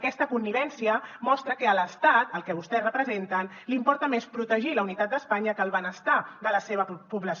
aquesta connivència mostra que a l’estat el que vostès representen li importa més protegir la unitat d’espanya que el benestar de la seva població